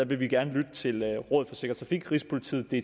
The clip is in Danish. vi vil gerne lytte til rådet for sikker trafik rigspolitiet